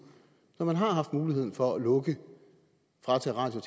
når man har haft mulighed for at lukke og fratage radio